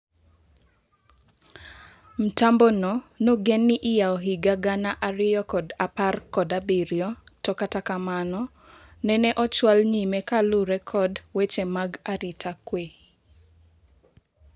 Mtambo no nogen ni iyao higa gana ariyo kod apar kod abirio to kata kamano nene ochwal nyime ka luore kod weche mag arita kwee.